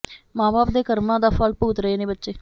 ਮਾਂ ਬਾਪ ਦੇ ਕਰਮਾਂ ਦਾ ਫ਼ਲ ਭੁਗਤ ਰਹੇ ਨੇ ਬੱਚੇ